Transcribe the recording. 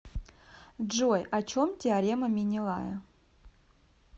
джой о чем теорема менелая